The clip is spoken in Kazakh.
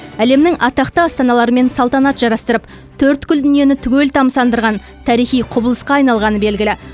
әлемнің атақты астаналарымен салтанат жарастырып төрткүл дүниені түгел тамсандырған тарихи құбылысқа айналғаны белгілі